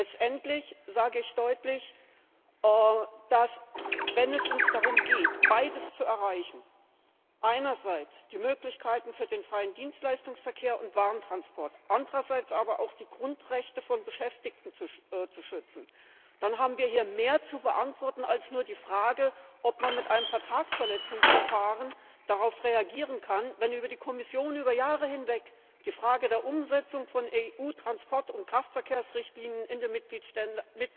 Letztendlich sage ich deutlich, dass, wenn es uns darum geht, beides zu erreichen einerseits die Möglichkeiten für den freien Dienstleistungsverkehr und Warentransport, andererseits aber auch die Grundrechte von Beschäftigten zu schützen dann haben wir hier mehr zu beantworten als nur die Frage, ob man mit einem Vertragsverletzungsverfahren darauf reagieren kann, wenn durch die Kommission über Jahre hinweg die Frage der Umsetzung von EU Transport und Kraftverkehrsrichtlinien in den Mitgliedstaaten